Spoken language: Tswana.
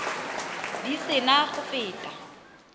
di se na go feta